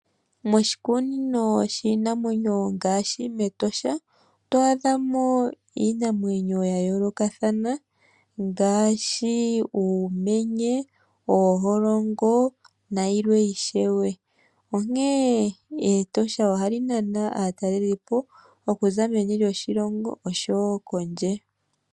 Moshikunino shiinamwenyo ngaashi mEtosha oto adha mo iinamwenyo ya yooloka ngaashi uumenye, ooholongo nayilwe ishewe onkee